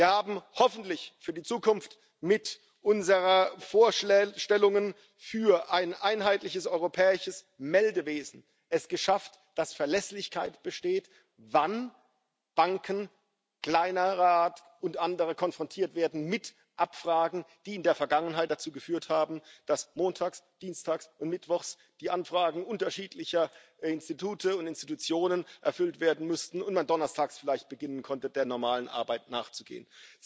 Wir haben es mit unseren Vorstellungen für ein einheitliches europäisches Meldewesen hoffentlich für die Zukunft geschafft, dass Verlässlichkeit besteht, wann Banken kleinerer Art und andere konfrontiert werden mit Abfragen, die in der Vergangenheit dazu geführt haben, dass montags, dienstags und mittwochs die Anfragen unterschiedlicher Institute und Institutionen erfüllt werden mussten und man dann donnerstags vielleicht beginnen konnte, der normalen Arbeit nachzugehen.